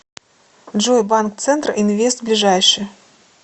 джой банк центр инвест ближайший